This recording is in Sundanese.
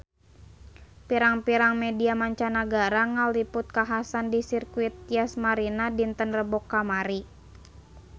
Pirang-pirang media mancanagara ngaliput kakhasan di Sirkuit Yas Marina dinten Rebo kamari